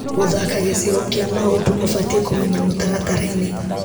Gũthaka gĩcigo kĩa maũndũ ũbatiĩ kumenya mũtaratara-inĩ .